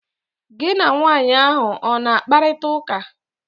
Gi na nwanyị ahụ ọ na-akparịta ụka?